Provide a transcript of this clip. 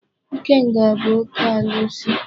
Ikenga bụ oke alụsị.